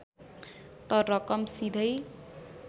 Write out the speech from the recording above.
त रकम सिधैँ